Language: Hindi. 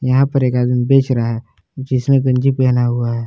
यहां पर एक आदमी बेच रहा है जिसने गंजी पहना हुआ है।